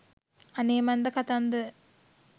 අනේ මන්ද කතන්දර